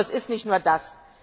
Doch es ist nicht nur das.